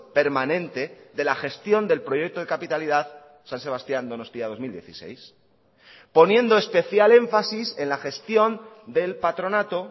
permanente de la gestión del proyecto de capitalidad san sebastián donostia dos mil dieciséis poniendo especial énfasis en la gestión del patronato